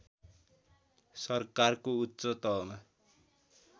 सरकारको उच्च तहमा